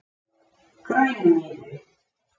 Grænumýri